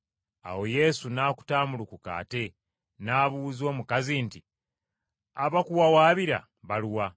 Awo Yesu n’akutaamulukuka ate, n’abuuza omukazi nti, “Abakuwawaabira baluwa?”